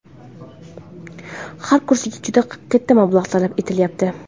Har kursiga juda katta mablag‘ talab etilyapti.